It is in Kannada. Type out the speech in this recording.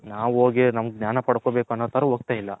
ನಾವು ಹೋಗಿ ನಮ್ಮಗೆ ಜ್ಞಾನ ಪಡ್ಕೋಬೇಕು ಅನ್ನೋ ತರ ಒಗ್ತೈಲ್ಲ.